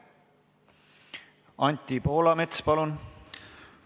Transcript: Anti Poolamets, palun!